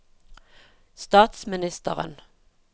statsministeren